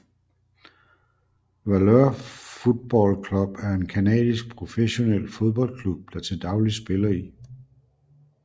Valour Football Club er en canadisk professionel fodboldklub der til dagligt spiller i